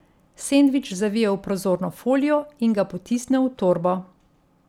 Sendvič zavije v prozorno folijo in ga potisne v torbo.